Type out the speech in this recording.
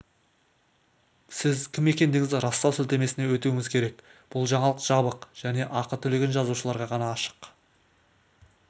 сіз кім екендігіңізді растау сілтемесіне өтуіңіз керек бұл жаңалық жабық және ақы төлеген жазылушыларға ғана ашық